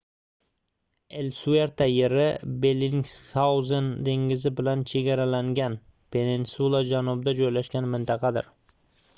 elsuerta yeri bellingshauzen dengizi bilan chegaralangan peninsula janubida joylashgan mintaqadir